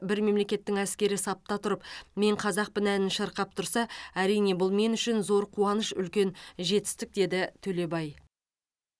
бір мемлекеттің әскері сапта тұрып мен қазақпын әнін шырқап тұрса әрине бұл мен үшін зор қуаныш үлкен жетістік деді төлебай